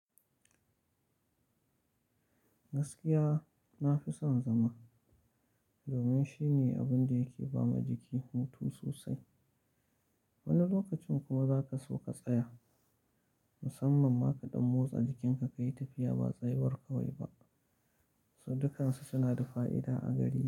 Gaskiya nafi son zama, domin shine abun da yake ba ma jiki mutum sosai. Wani lokacin kuma za ka so ka tsaya, musamman ma ka ɗan motsa jikinka ka yi tafiya ba tsayawar kawai ba. Sudukan su suna da fa'ida a gari.